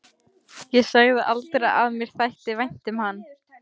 Ég sagði aldrei að mér þætti vænt um hann.